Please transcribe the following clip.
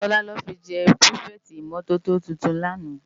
Tola lò fi jè pirifèti imòtótó tútún làná